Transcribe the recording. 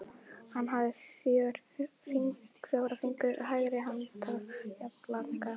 Hann hafði fjóra fingur hægri handar jafnlanga.